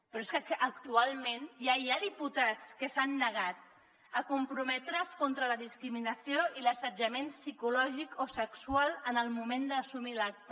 però és que actualment ja hi ha diputats que s’han negat a comprometre’s contra la discriminació i l’assetjament psicològic o sexual en el moment d’assumir l’acta